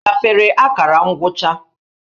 Ị gafere akara ngwụcha?